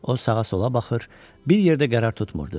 O sağa-sola baxır, bir yerdə qərar tutmurdu.